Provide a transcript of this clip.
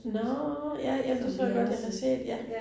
Nåh ja ja det tror jeg godt, jeg har set ja